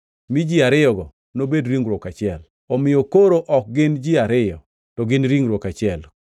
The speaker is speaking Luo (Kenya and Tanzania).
mi ji ariyogo nobed ringruok achiel.’ Omiyo koro ok gin ji ariyo, to gin ringruok achiel. + 10:8 \+xt Chak 2:24\+xt*